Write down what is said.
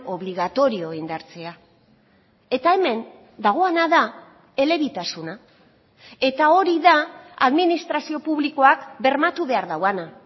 obligatorio indartzea eta hemen dagoena da elebitasuna eta hori da administrazio publikoak bermatu behar duena